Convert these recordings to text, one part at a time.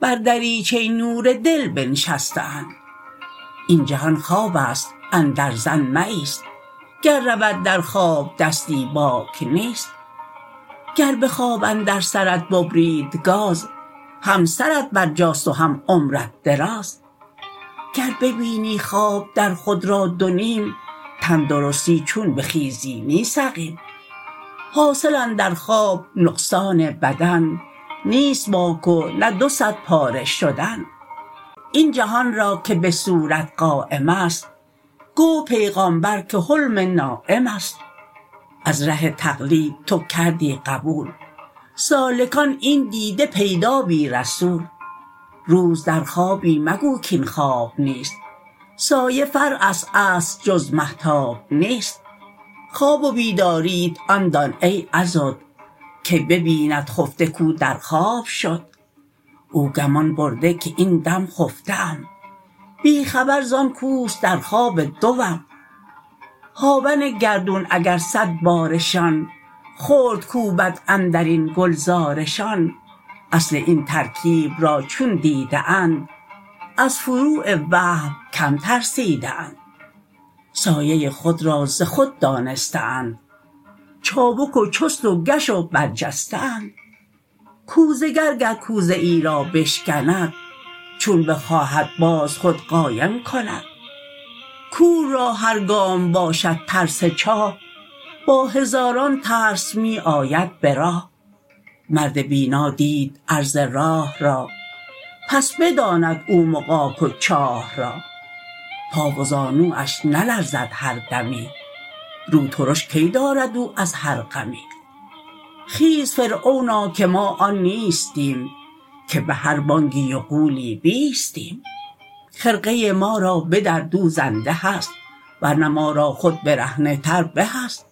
بر دریچه نور دل بنشسته اند این جهان خوابست اندر ظن مه ایست گر رود درخواب دستی باک نیست گر بخواب اندر سرت ببرید گاز هم سرت بر جاست و هم عمرت دراز گر ببینی خواب در خود را دو نیم تن درستی چون بخیزی نی سقیم حاصل اندر خواب نقصان بدن نیست باک و نه دوصد پاره شدن این جهان را که به صورت قایمست گفت پیغامبر که حلم نایمست از ره تقلید تو کردی قبول سالکان این دیده پیدا بی رسول روز در خوابی مگو کین خواب نیست سایه فرعست اصل جز مهتاب نیست خواب و بیداریت آن دان ای عضد که ببیند خفته کو در خواب شد او گمان برده که این دم خفته ام بی خبر زان کوست درخواب دوم هاون گردون اگر صد بارشان خرد کوبد اندرین گلزارشان اصل این ترکیب را چون دیده اند از فروع وهم کم ترسیده اند سایه خود را ز خود دانسته اند چابک و چست و گش و بر جسته اند کوزه گر گر کوزه ای را بشکند چون بخواهد باز خود قایم کند کور را هر گام باشد ترس چاه با هزاران ترس می آید به راه مرد بینا دید عرض راه را پس بداند او مغاک و چاه را پا و زانواش نلرزد هر دمی رو ترش کی دارد او از هر غمی خیز فرعونا که ما آن نیستیم که به هر بانگی و غولی بیستیم خرقه ما را بدر دوزنده هست ورنه ما را خود برهنه تر به است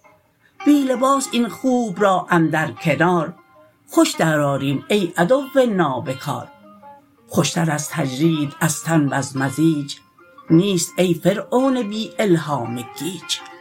بی لباس این خوب را اندر کنار خوش در آریم ای عدو نابکار خوشتر از تجرید از تن وز مزاج نیست ای فرعون بی الهام گیج